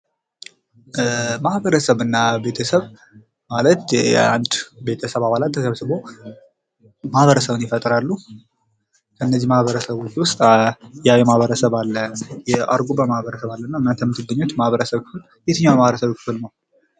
ማህበረሰብ እና ቤተሰብ ማለት አንድ የቤተሰብ አባላት ተሰብስቦ ማህበረሰብን ይፈጥራሉ ።ከነዚህ ማህበረሰቦች ውስጥ የአዊ ማህበረሰብ አለ፤ የአርጎባ ማህበረሰብ አለና እናንተ የምትገኙበት የማህበረሰብ ክፍል የትኛው የማህበረሰብ ክፍል ነው?